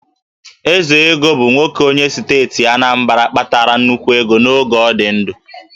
Ezego bụ nwoke onye steeti Anambra kpatara nnukwu ego n'oge ọ dị ndụ